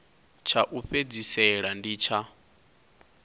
tsha u fhedzisela ndi tsha